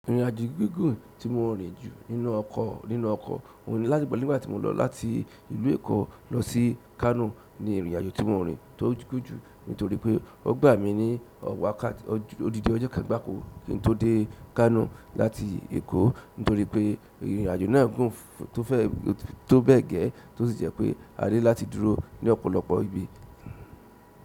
Ìrìnàjò gígùn tí mo rìn jù nínú ọkọ̀, nínú ọkọ̀ òun ni láti nígbà tí mo lọ láti ìlú Èkó lọ sí Kánò ni ìrìnàjò tí mo rìn tó gùn jù nítorí pé ó gbà mí ní ọ̀ wákàtí odindi ọjọ́ kan gbàko kí n tó dé Kánò láti Èkó nítorí pé ìrìnàjò náà gùn. Tó bẹ́ẹ̀ gẹ́ tósì jẹ́ pé a ní láti dúró ní ọ̀pọ̀lọpọ̀ ibi.